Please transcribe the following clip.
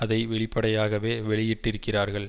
அதை வெளிப்படையாகவே வெளியிட்டிருக்கிறார்கள்